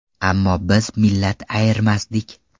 Ammo biz millat ayirmasdik.